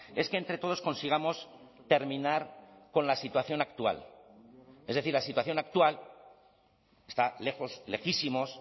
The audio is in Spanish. es que entre todos consigamos terminar con la situación actual es decir la situación actual está lejos lejísimos